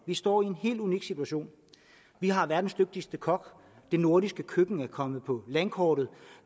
står i en helt unik situation vi har verdens dygtigste kok det nordiske køkken er kommet på landkortet